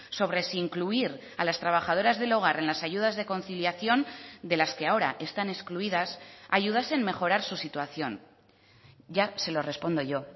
sobre si incluir a las trabajadoras del hogar en las ayudas de conciliación de las que ahora están excluidas ayudas en mejorar su situación ya se lo respondo yo